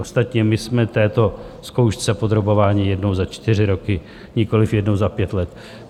Ostatně my jsme této zkoušce podrobováni jednou za čtyři roky, nikoliv jednou za pět let.